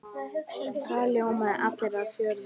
Það ljóma allir af fjöri.